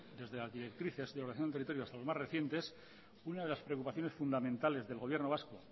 desde las directrices de ordenación del territorio hasta el más reciente una de las preocupaciones fundamentales del gobierno vasco